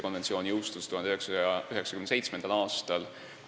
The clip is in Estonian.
Konventsioon jõustus 1997. aastal.